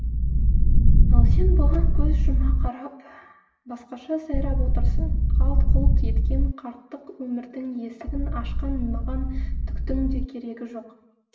ал сен бұған көз жұма қарап басқаша сайрап отырсың қалт құлт еткен қарттық өмірдің есігін ашқан маған түктің де керегі жоқ